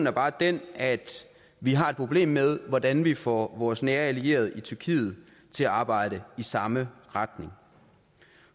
er bare den at vi har et problem med hvordan vi får vores nære allierede i tyrkiet til at arbejde i samme retning